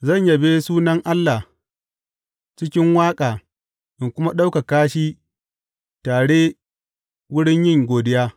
Zan yabe sunan Allah cikin waƙa in kuma ɗaukaka shi tare wurin yin godiya.